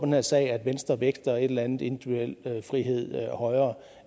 her sag at venstre vægter en eller anden individuel frihed højere